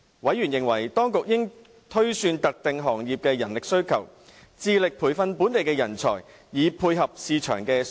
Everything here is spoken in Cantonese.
委員認為，當局應推算特定行業的人力需求，致力培訓本地人才，以配合市場需求。